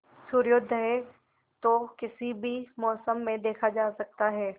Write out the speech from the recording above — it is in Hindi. सूर्योदय तो किसी भी मौसम में देखा जा सकता है